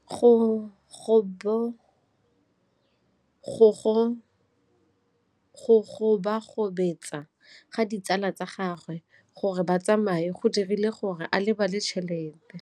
Go gobagobetsa ga ditsala tsa gagwe, gore ba tsamaye go dirile gore a lebale tšhelete.